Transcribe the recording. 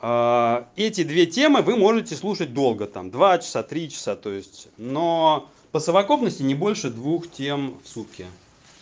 эти две темы вы можете слушать долго там два часа три то есть но по совокупности не больше двух тем в сутки